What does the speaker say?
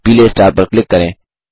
पीले स्टार पर क्लिक करें